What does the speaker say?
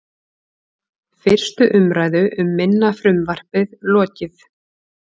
Fyrstu umræðu um minna frumvarpið lokið